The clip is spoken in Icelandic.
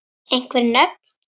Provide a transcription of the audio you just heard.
Einhver nöfn?